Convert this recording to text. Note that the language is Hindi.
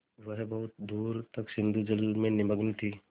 वह बहुत दूर तक सिंधुजल में निमग्न थी